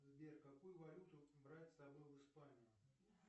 сбер какую валюту брать с собой в испанию